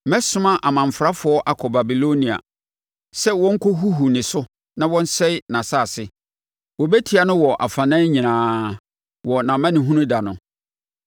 Mɛsoma amanfrafoɔ akɔ Babilonia sɛ wɔnkɔhuhu ne so na wɔnsɛe nʼasase; wɔbɛtia no wɔ afanan nyinaa wɔ nʼamanehunu da no.